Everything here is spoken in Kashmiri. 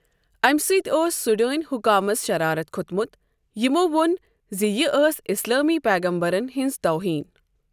اَمہِ سۭتۍ ٲس سوڈٲنۍ حکامَس شرارَت کھوٚتمُت یمو ووٚن زِ یہِ ٲس اسلٲمی پیغمبرن ہٕنٛز توہین۔